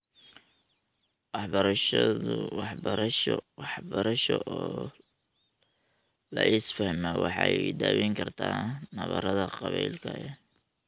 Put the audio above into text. Waxbarasho oo la isfahmaa waxay daweyn kartaa nabarrada qabaa'ilka ee .